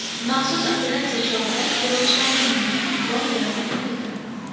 Maxsus operatsiya chog‘ida terrorchilarning yonidan qurol-yarog‘ topildi.